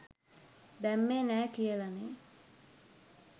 දැම්මේ නෑ කියලනේ?